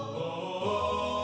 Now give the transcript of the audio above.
á